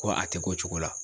Ko a tɛ k'o cogo la.